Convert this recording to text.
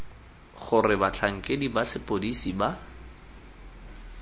gore batlhankedi ba sepodisi ba